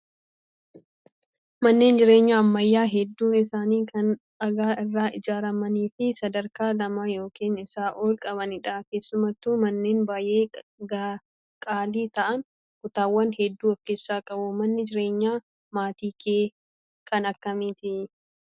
Manneen jireenyaa ammayyaa hedduun isaanii kan dhagaa irraa ijaaramanii fi sadarkaa lama yookaan isaa ol qabanidha. Keessattuu manneen baay'ee qaalii ta'an kutaawwan hedduu of keessaa qabu. Manni jireenyaa maatii kee kan akkamiiti?